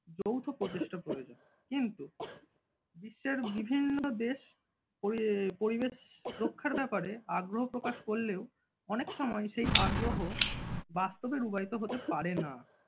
যৌথ প্রচেষ্টার প্রয়োজন কিন্তু বিশ্বের বিভিন্ন দেশ পরি~ পরিবেশ রক্ষার ব্যাপারে আগ্রহ প্রকাশ করলেও অনেক সময় সেই আগ্রহ বাস্তবে রূপায়িত হতে পারে না।